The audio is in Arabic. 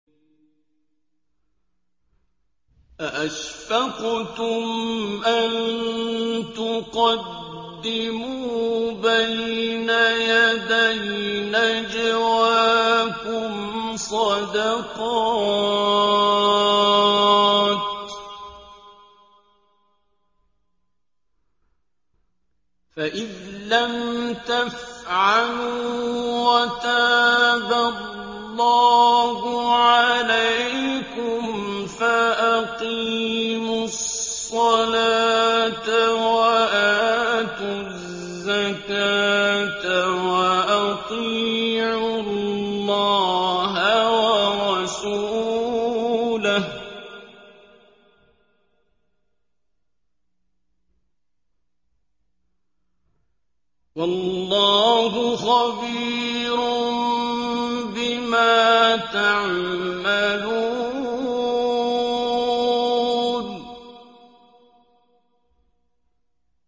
أَأَشْفَقْتُمْ أَن تُقَدِّمُوا بَيْنَ يَدَيْ نَجْوَاكُمْ صَدَقَاتٍ ۚ فَإِذْ لَمْ تَفْعَلُوا وَتَابَ اللَّهُ عَلَيْكُمْ فَأَقِيمُوا الصَّلَاةَ وَآتُوا الزَّكَاةَ وَأَطِيعُوا اللَّهَ وَرَسُولَهُ ۚ وَاللَّهُ خَبِيرٌ بِمَا تَعْمَلُونَ